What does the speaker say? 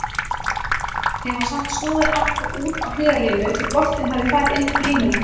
Þeim var samt snúið aftur út á hliðarlínu því boltinn hafði farið inn fyrir línuna.